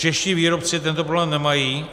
Čeští výrobci tento problém nemají.